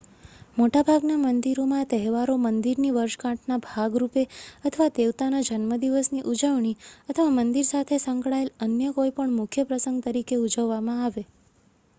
મોટાભાગના મંદિરોના તહેવારો મંદિરની વર્ષગાંઠના ભાગરૂપે અથવા દેવતાના જન્મદિવસની ઉજવણી અથવા મંદિર સાથે સંકળાયેલ અન્ય કોઈપણ મુખ્ય પ્રસંગ તરીકે ઉજવવામાં આવે